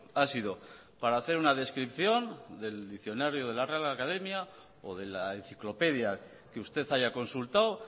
ha sido para hacer una descripción del diccionario de la real academia o de la enciclopedia que usted haya consultado